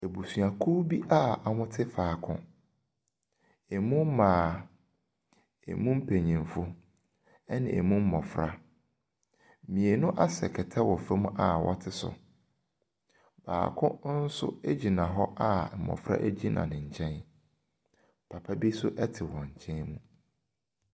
Abuduakuo bi a wɔte faako. Ɛmu mmaa, ɛmu mpanimfo ne ɛmu mmɔfra. Mmienu asɛ kɛtɛ wɔ famu a wɔte so. Akokɔ nso gyina hɔ a mmɔfra gyina ne nkyɛn. Papa bi nso te hɔn nkyɛn mu.